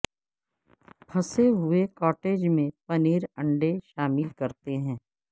پھنسے ہوئے کاٹیج میں پنیر انڈے شامل کرتے ہیں